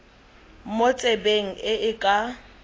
mo tsebeng e e ka